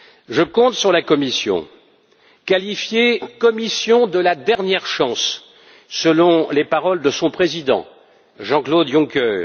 Je compte sur la Commission, qualifiée de Commission de la dernière chance selon les paroles de son président Jean Claude Juncker.